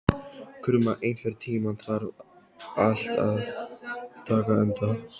Krumma, einhvern tímann þarf allt að taka enda.